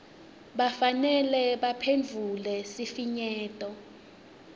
kufanele baphendvule sifinyeto